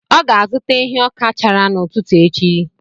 Ọ ga-azụta ehi ọka chara n’ụtụtụ echi.